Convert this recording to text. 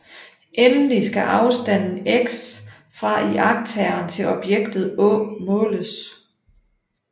Endelig skal afstanden x fra iagttageren til objektet å måles